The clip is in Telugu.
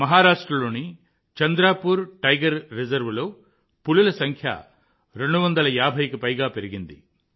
మహారాష్ట్రలోని చంద్రాపూర్ టైగర్ రిజర్వ్లో పులుల సంఖ్య 250కి పైగా పెరిగింది